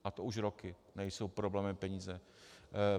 A to už roky nejsou problémem peníze.